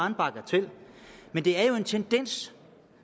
en bagatel men det er jo en tendens